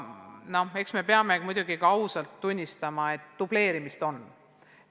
Aga eks me peame muidugi ausalt tunnistama, et dubleerimist on.